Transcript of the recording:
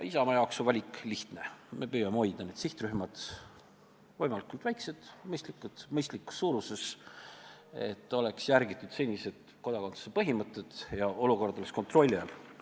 Isamaa jaoks on valik lihtne: meie püüame hoida need sihtrühmad võimalikult väikesed, mõistlikus suuruses, et järgitaks seniseid kodakondsuse põhimõtteid ja olukord oleks kontrolli all.